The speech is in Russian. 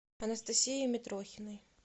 анастасией митрохиной